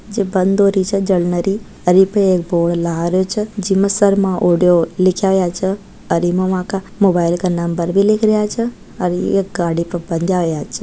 जे बंद हो रही छे जलनरी हेर इपे एक बोर्ड लाग रहो छे जिमें शर्मा ऑडियों लिखया हुआ छे और इमे बाका मोबाइल का नंबर भी लिख्या हुआ छे और एक गाड़ी पे बंध्या हुआ छे।